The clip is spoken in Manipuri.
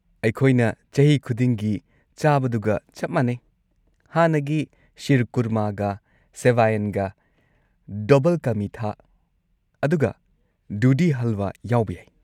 ꯑꯩꯈꯣꯏꯅ ꯆꯍꯤ ꯈꯨꯗꯤꯡꯒꯤ ꯆꯥꯕꯗꯨꯒ ꯆꯞ ꯃꯥꯟꯅꯩ; ꯍꯥꯟꯅꯒꯤ ꯁꯤꯔꯀꯨꯔꯃꯥꯒ ꯁꯦꯚꯥꯢꯟꯒ, ꯗꯕꯜ ꯀꯥ ꯃꯤꯊꯥ , ꯑꯗꯨꯒ ꯗꯨꯙꯤ ꯍꯜꯋꯥ ꯌꯥꯎꯕ ꯌꯥꯏ꯫